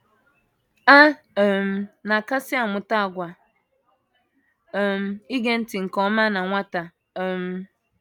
A um na - akasị amụta àgwà um ige ntị nke ọma na nwata um.